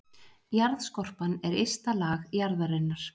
Jarðskorpan er ysta lag jarðarinnar.